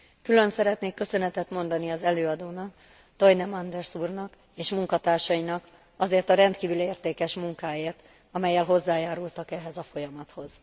Külön szeretnék köszönetet mondani az előadónak, Toine Manders úrnak és munkatársainak azért a rendkívül értékes munkáért, amellyel hozzájárultak ehhez a folyamathoz.